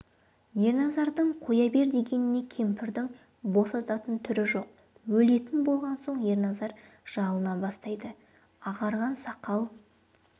ерназардың қоя бер дегеніне кемпірдің босататын түрі жоқ өлетін болған соң ерназар жалына бастайды ағарған сақал